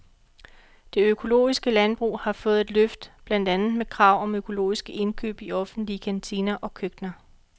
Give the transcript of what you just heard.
Det økologiske landbrug har fået et løft, blandt andet med krav om økologiske indkøb i offentlige kantiner og køkkener.